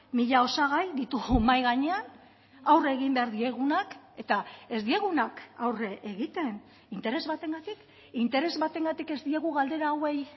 mila osagai ditugu mahai gainean aurre egin behar diegunak eta ez diegunak aurre egiten interes batengatik interes batengatik ez diegu galdera hauei